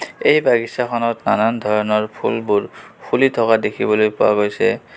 এই বাগিছা খনত নানান ধৰণৰ ফুলবোৰ ফুলি থকা দেখিবলৈ পোৱা গৈছে.